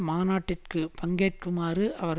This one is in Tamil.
மாநாட்டிற்கு பங்கேற்குமாறு அவர்